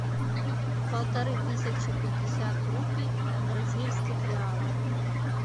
полторы тысячи пятьдесят рупий в бразильских реалах